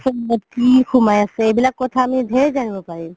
কি সুমাই আছে এইবিলাক কথা আমি ধেৰ জানিব পাৰিম